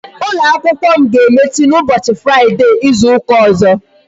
Ụlọ akwụkwọ m ga-emechi n'ụbọchị fraide Izu ụka ọzọ